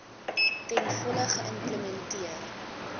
ten volle geïmplementeer